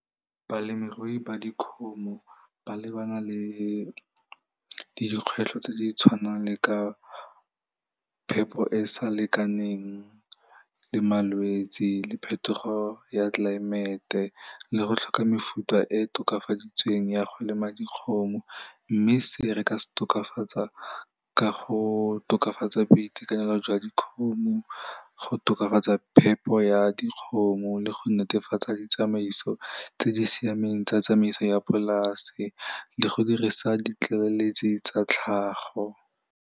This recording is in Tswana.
Balemirui ba dikgomo ba lebana le dikgwetlho tse di tshwanang le ka phepho e sa lekaneng le malwetsi le phetogo ya tlelaemete le go tlhoka mefuta e e tokafaditsweng ya go lema dikgomo mme se re ka se tokafatsa ka go tokafatsa boitekanelo jwa dikgomo, go tokafatsa phepo ya dikgomo le go netefatsa ditsamaiso tse di siameng tsa tsamaiso ya polase le go dirisa ditlaleletsi tsa tlhago.